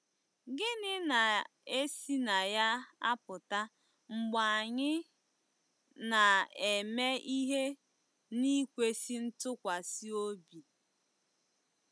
Gịnị na-esi na ya apụta mgbe anyị ‘ na-eme ihe n’ikwesị ntụkwasị obi ’?